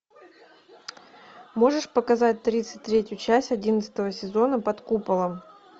можешь показать тридцать третью часть одиннадцатого сезона под куполом